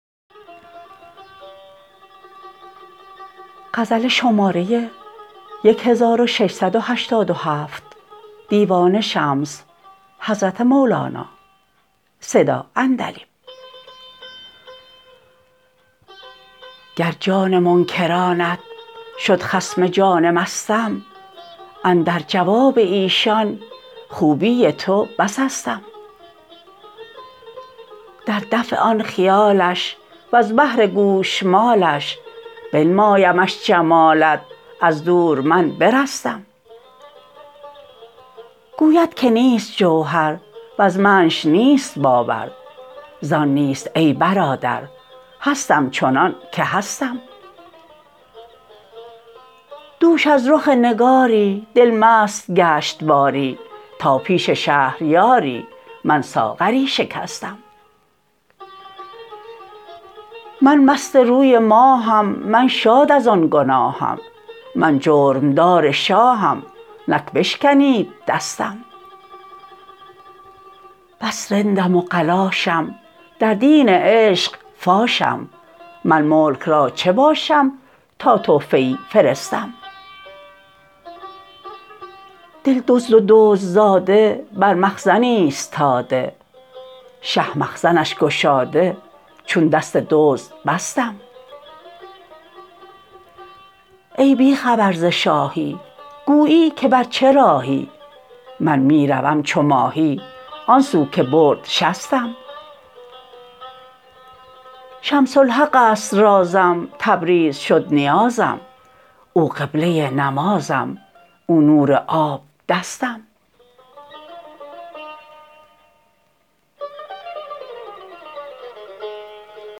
گر جان منکرانت شد خصم جان مستم اندر جواب ایشان خوبی تو بس استم در دفع آن خیالش وز بهر گوشمالش بنمایمش جمالت از دور من برستم گوید که نیست جوهر وز منش نیست باور زان نیست ای برادر هستم چنانک هستم دوش از رخ نگاری دل مست گشت باری تا پیش شهریاری من ساغری شکستم من مست روی ماهم من شاد از آن گناهم من جرم دار شاهم نک بشکنید دستم بس رندم و قلاشم در دین عشق فاشم من ملک را چه باشم تا تحفه ای فرستم دل دزد و دزدزاده بر مخزن ایستاده شه مخزنش گشاده چون دست دزد بستم ای بی خبر ز شاهی گویی که بر چه راهی من می روم چو ماهی آن سو که برد شستم شمس الحق است رازم تبریز شد نیازم او قبله نمازم او نور آب دستم